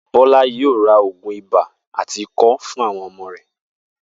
Bó̩lá yóò ra ògùn ibà àti ikó̩ fún àwo̩n o̩mo̩ rè̩